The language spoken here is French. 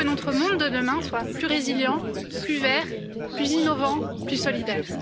L'espoir que notre monde de demain soit plus résiliant, plus vert, plus innovant, plus solidaire.